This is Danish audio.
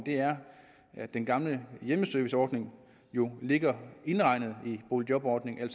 er at den gamle hjemmeserviceordning jo ligger indregnet i boligjobordningen